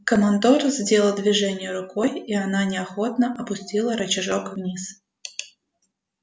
командор сделал движение рукой и она неохотно опустила рычажок вниз